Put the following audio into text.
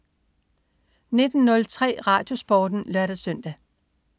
19.03 RadioSporten (lør-søn)